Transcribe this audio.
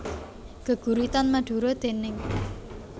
Geguritan Madura déning